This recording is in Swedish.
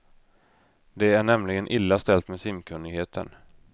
Det är nämligen illa ställt med simkunnigheten.